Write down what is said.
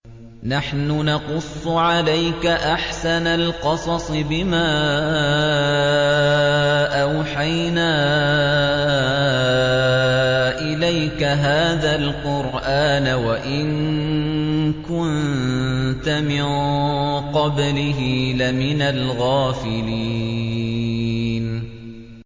نَحْنُ نَقُصُّ عَلَيْكَ أَحْسَنَ الْقَصَصِ بِمَا أَوْحَيْنَا إِلَيْكَ هَٰذَا الْقُرْآنَ وَإِن كُنتَ مِن قَبْلِهِ لَمِنَ الْغَافِلِينَ